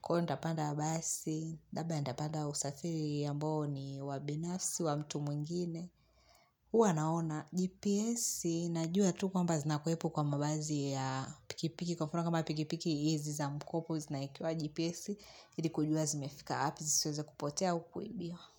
Kwa ivo ntapanda basi, labda ntapanda usafiri ambao ni wa binafsi wa mtu mwingine. Huwa naona, GPS, najua tu kwamba zinakuwepo kwa mavazi ya pikipiki. Kwa mfano kama pikipiki hizi za mkopo zinaekewa gps ili kujua zimefika wapi zisiweze kupotea au kuibiwa.